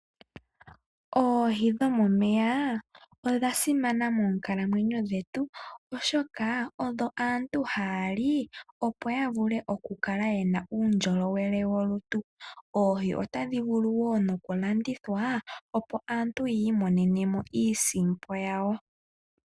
Oohi dho momeya odha simana moonkalamwenyo dhetu, ohaya oshoka odho aantu haa li , opo ya vule oku kala ye na uundjolowele wolutu. Oohi ota dhi vulu wo noku landithwa opo aantu yi imonene iisimpo yawo.